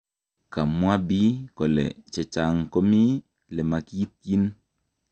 Kamwaa bi. kole chechang komii lemakiityin